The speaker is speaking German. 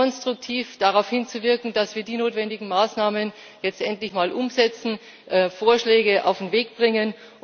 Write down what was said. Hause, konstruktiv darauf hinzuwirken, dass wir die notwendigen Maßnahmen jetzt endlich mal umsetzen und Vorschläge auf den Weg bringen.